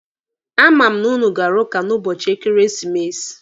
A ma m na ụnụ gara ụka n'ụbọchị ekeresimesi.